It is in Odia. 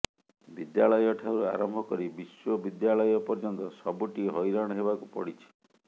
ବିଦ୍ୟାଳୟଠାରୁ ଆରମ୍ଭ କରି ବିଶ୍ୱବିଦ୍ୟାଳୟ ପର୍ଯ୍ୟନ୍ତ ସବୁଠି ହଇରାଣ ହେବାକୁ ପଡ଼ିଛି